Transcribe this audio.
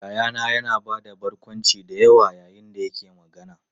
Yayana yana ba da barkwanci da yawa yayin da yake magana.